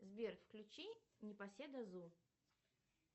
сбер включи непоседа зу